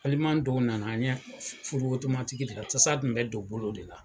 Teliman tigiw nana an ɲɛ furu otomatiki, tasa tun bɛ don bolo de la.